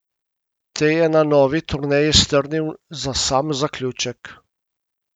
Te je na novi turneji strnil za sam zaključek.